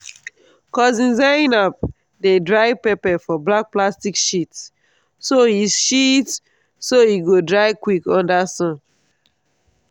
cousin zainab dey dry pepper for black plastic sheets so e sheets so e go dry quick under sun.